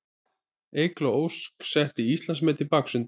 Eygló Ósk setti Íslandsmet í baksundi